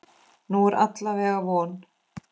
Nú er alla vega von.